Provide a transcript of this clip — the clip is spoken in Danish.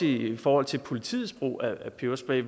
i forhold til politiets brug af peberspray